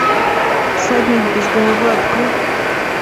всадник без головы открой